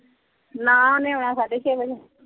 ਨਾ ਓਹਨੇ ਆਉਣਾ ਸਾਢੇ ਛੇ ਵੱਜੇ।